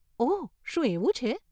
ઓહ, શું એવું છે?